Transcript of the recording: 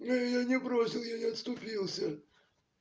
я её не бросил я не отступился